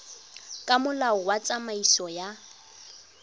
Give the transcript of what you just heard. ka molao wa tsamaiso ya